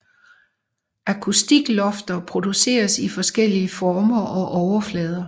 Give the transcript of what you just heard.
Akustiklofter produceres i forskellige former og overflader